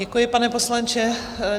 Děkuji, pane poslanče.